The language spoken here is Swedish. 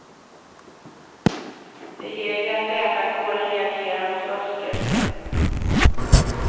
Det gäller att läkarkåren reagerar mot fusket.